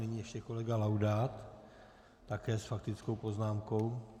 Nyní ještě kolega Laudát také s faktickou poznámkou.